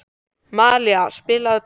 Malía, spilaðu tónlist.